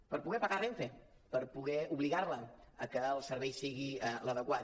per poder pagar renfe per poder obligar la a que el servei sigui l’adequat